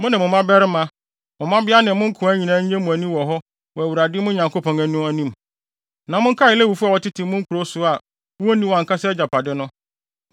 Mo ne mo mmabarima, mo mmabea ne mo nkoa nyinaa nnye mo ani wɔ hɔ wɔ Awurade, mo Nyankopɔn no, anim. Na monkae Lewifo a wɔtete mo nkurow so no a wonni wɔn ankasa agyapade no.